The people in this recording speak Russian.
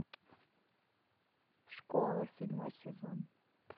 школа седьмой сезон